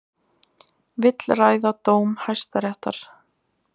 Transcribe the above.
Vill ræða dóm Hæstaréttar